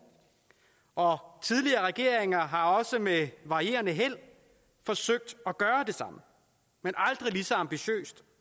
og tidligere regeringer har også med varierende held forsøgt at gøre det men aldrig lige så ambitiøst